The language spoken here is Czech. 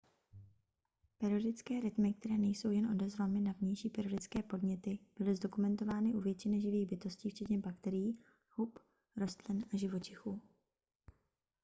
periodické rytmy které nejsou jen odezvami na vnější periodické podněty byly zdokumentovány u většiny živých bytostí včetně bakterií hub rostlin a živočichů